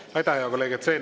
Aitäh, hea kolleeg!